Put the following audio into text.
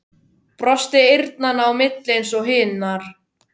Brosti eyrnanna á milli eins og hinar.